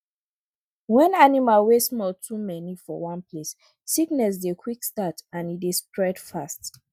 when animal wey small too many for one place sickness dey quick start and e dey spread fast